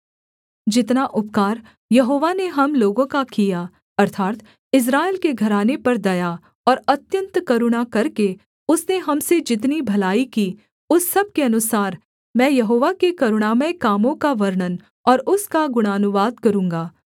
जितना उपकार यहोवा ने हम लोगों का किया अर्थात् इस्राएल के घराने पर दया और अत्यन्त करुणा करके उसने हम से जितनी भलाई कि उस सब के अनुसार मैं यहोवा के करुणामय कामों का वर्णन और उसका गुणानुवाद करूँगा